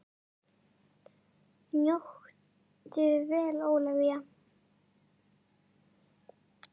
Njóttu vel Ólafía!